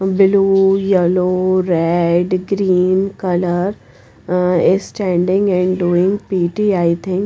below yellow red green colour is standing and doing P_T i think.